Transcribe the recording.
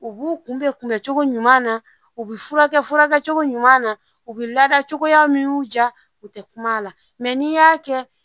U b'u kunbɛn kunbɛncogo ɲuman na u bɛ furakɛ cogo ɲuman na u bɛ lada cogoya min y'u diya u tɛ kuma a la mɛ n'i y'a kɛ